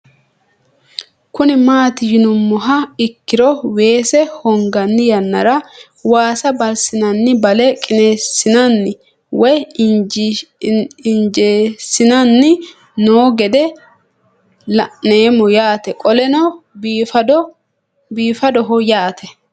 Kuni mati yinumoha ikiro weese hogani yanara waasa balisinani bale qinesinana woyi injesinani noo gede la'nemo yaate qoleno bifadoho yaate